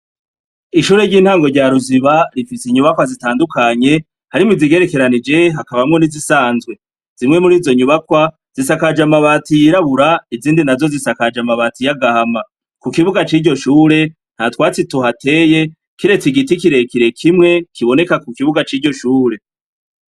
Ishure ry'intango rya Ruziba rifise inyubakwa zitandukanye, harimwo izigerekeranije, hakabamwo n'izisanzwe. Zimwe mur'izo nyubakwa zisakaje amabati yirabura, izindi nazo zisakaje amabati y'agahama. Ku kibuga c'iryo shure, ntatwatsi tuhateye kiretse igiti kirekire kimwe kiboneka ku kibuga c'iryo shure.